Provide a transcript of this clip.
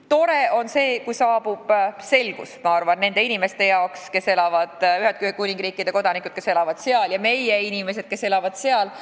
Tore, kui saabub selgus nendele inimestele, Ühendkuningriigi kodanikele, kes elavad seal, ja meie inimestele, kes elavad seal.